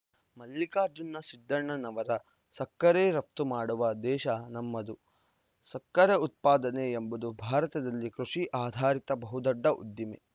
ಮಲ್ಲಿಕಾರ್ಜುನ ಸಿದ್ದಣ್ಣವರ ಸಕ್ಕರೆ ರಫ್ತು ಮಾಡುವ ದೇಶ ನಮ್ಮದು ಸಕ್ಕರೆ ಉತ್ಪಾದನೆ ಎಂಬುದು ಭಾರತದಲ್ಲಿ ಕೃಷಿ ಆಧಾರಿತ ಬಹುದೊಡ್ಡ ಉದ್ದಿಮೆ